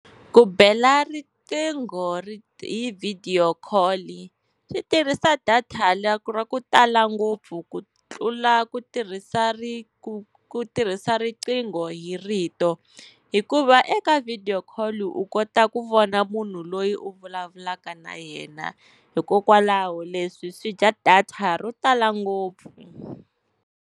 Ku bela riqingho hi video call swi tirhisa data la ra ku tala ngopfu ku tlula ku tirhisa ku tirhisa riqingho hi rito. Hikuva eka video call u kota ku vona munhu loyi u vulavulaka na yena, hikokwalaho leswi swi dya data ro tala ngopfu.